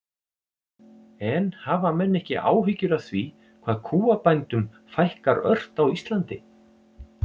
En hafa menn ekki áhyggjur af því hvað kúabændum fækkar ört á Íslandi?